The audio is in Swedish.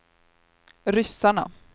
ryssarna